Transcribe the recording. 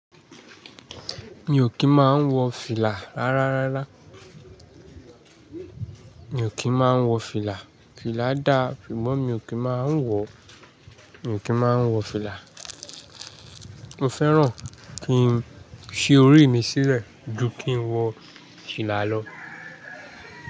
Mi ò kí ń máa ń wọ fìlà rárá rárá. Mi ò kí ń máa ń wọ fìlà. Fìlà dá, ṣùgbọ́n mi ò kí ń máa ń wọ, mi ò kí ń máa ń wọ fìlà. Mo fẹ́ràn kí n ṣí orí mi sílẹ̀ ju kí n wọ fìlà lọ.